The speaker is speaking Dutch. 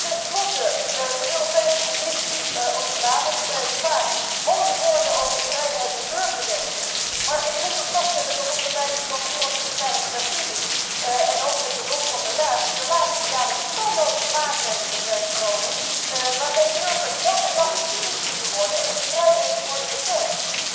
Ten slotte, de Europese Commissie spreekt vaak mooie woorden over vrijheid en burgerrechten, maar ik moet toch vaststellen dat er onder leiding van commissaris Frattini en ook met behulp van de Raad de laatste jaren talloze maatregelen zijn genomen waarmee burgers dag en nacht bespied kunnen worden en hun vrijheden worden beperkt.